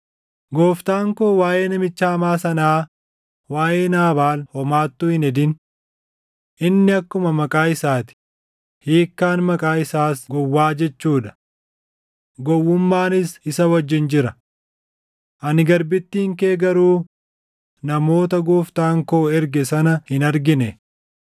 Gooftaan koo waaʼee namicha hamaa sanaa waaʼee Naabaal homaattuu hin hedin. Inni akkuma maqaa isaa ti; hiikkaan maqaa isaas gowwaa jechuu dha. Gowwummaanis isa wajjin jira. Ani garbittiin kee garuu namoota gooftaan koo erge sana hin argine.